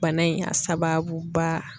Bana in a sababu ba